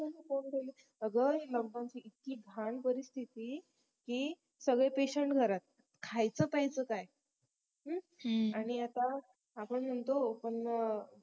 ह मंग कोंडलेलेच अगं lockdown ची इतकी घाण परिस्थिति की सगळे patient घरात खायचं प्यायचं काय आणि आता आपण म्हणतो पण